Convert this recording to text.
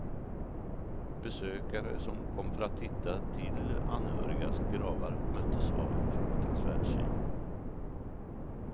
Besökare som kom för att titta till anhörigas gravar möttes av en fruktansvärd syn.